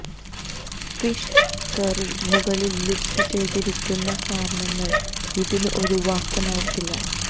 fish curry മുകളിൽ ലിസ്റ്റുചെയ്തിരിക്കുന്ന കാരണങ്ങൾ ഇതിന് ഒരു വാക്യം ആയിരിക്കില്ല